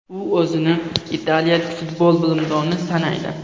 U o‘zini italiyalik futbol bilimdoni sanaydi.